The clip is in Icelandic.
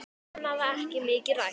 Annað var ekki mikið rætt.